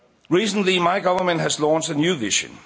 Recently, my government has launched a new